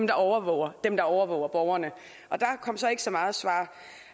der overvåger dem der overvåger borgerne og der kom så ikke så meget svar